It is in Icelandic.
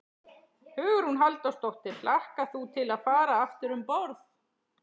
Hugrún Halldórsdóttir: Hlakkar þú til að fara aftur um borð?